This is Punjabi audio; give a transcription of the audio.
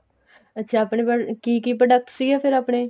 ਅੱਛਾ ਆਪਣੇ ਬਾਰੇ ਕੀ ਕੀ product ਸੀਗੇ ਫ਼ਿਰ ਆਪਣੇ